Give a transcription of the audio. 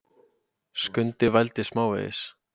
Skundi vældi smávegis.